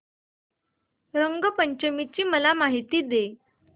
रंग पंचमी ची मला माहिती दे